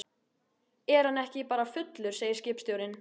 Er hann ekki bara fullur, segir skipstjórinn.